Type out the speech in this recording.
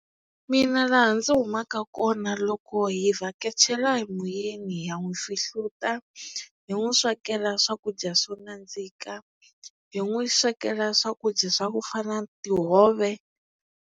Mina laha ndzi humaka kona loko hi vhakachela hi muyeni ya n'wi fihluta hi n'wi swekela swakudya swo nandzika hi n'wi swekela swakudya swa ku fana na tihove.